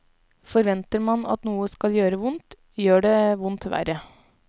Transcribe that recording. Forventer man at noe skal gjøre vondt, gjør det vondt verre.